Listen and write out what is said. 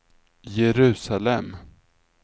Jerusalem